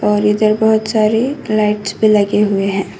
और इधर बहुत सारी लाइट्स भी लगे हुए हैं।